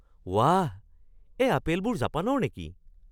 ৱাহ! এই আপেলবোৰ জাপানৰ নেকি?